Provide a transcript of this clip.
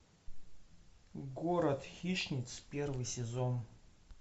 город хищниц первый сезон